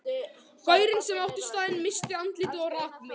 Gaurinn sem átti staðinn missti andlitið og rak mig.